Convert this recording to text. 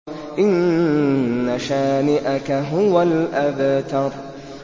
إِنَّ شَانِئَكَ هُوَ الْأَبْتَرُ